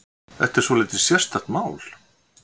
Þetta er svolítið sérstakt mál.